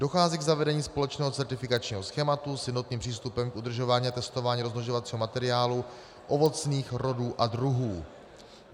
Dochází k zavedení společného certifikačního schématu s jednotným přístupem k udržování a testování rozmnožovacího materiálu ovocných rodů a druhů.